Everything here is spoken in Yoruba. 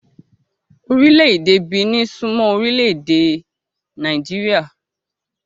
Orile-ede Benin sún mọ́ Orile-ede ède Nàìjíríà.